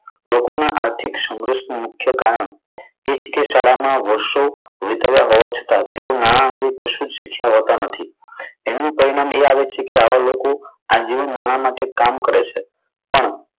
લોકોના આર્થિક સંઘર્ષનું મુખ્ય કારણ તે શીખ્યા ના વર્ષો વિતાવ્યા હોવા છતાં તે નાણા અંગે કશું જ છુપાવતા નથી. એમનું પરિણામ એ આવે છે કે આવા લોકો આ જીવન માટે નાણા માટે કામ કરે છે પણ,